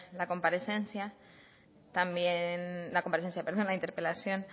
la interpelación